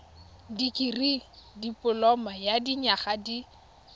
dikirii dipoloma ya dinyaga di